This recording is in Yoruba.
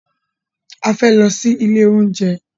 A fẹ́ lọ sí ilé oúnjẹ.